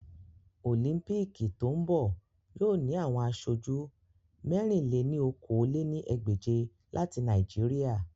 Olimpiiki to n bọ yoo ni awọn aṣoju mẹ̀rin-lé-ní-okòó lé ní ẹgbẹ́je lati Naijiria